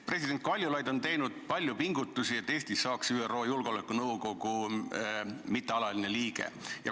President Kaljulaid on teinud palju pingutusi, et Eestist saaks ÜRO Julgeolekunõukogu mittealaline liige.